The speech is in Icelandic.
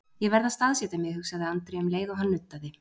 Ég verð að staðsetja mig, hugsaði Andri um leið og hann nuddaði.